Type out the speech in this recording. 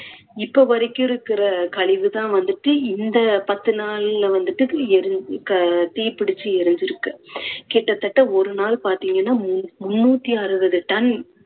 இப்போ வரைக்கும் இருக்குற கழிவுதான் வந்துட்டு இந்த பத்து நாள்ல வந்துட்டு எரி~ க~ தீப்பிடிச்சு எரிஞ்சுருக்கு. கிட்டத்தட்ட ஒரு நாள் பாத்தீங்கன்னா மு~ முண்ணூத்தி அறுவது ton